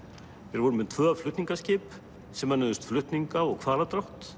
þeir voru með tvö flutningaskip sem önnuðust flutninga og